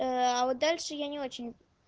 ээ а вот дальше я не очень